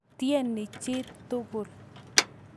Tyene chi tukul.